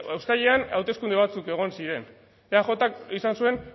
uztailean hauteskunde batzuk egon ziren eajk izan zuen